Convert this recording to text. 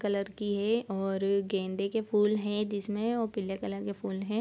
Colour की है और गेंदे के फूल है जिसमे और पीले कलर के फूल है ।